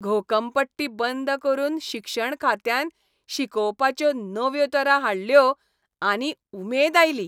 घोकंपट्टी बंद करून शिक्षण खात्यान शिकोवपाच्यो नव्यो तरा हाडल्यो आनी उमेद आयली.